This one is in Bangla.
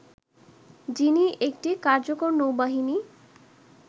যিনি একটি কার্যকর নৌবাহিনী